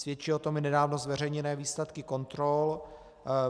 Svědčí o tom i nedávno zveřejněné výsledky kontrol.